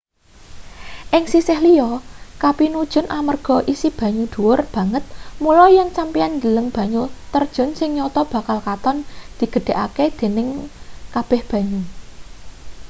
ing sisih liya kapinujon amarga isi banyu dhuwur banget mula yen sampeyan ndeleng banyu terjun sing nyata bakal katon digedhahake-dening kabeh banyu